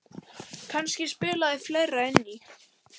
Kannski spilaði fleira inn í.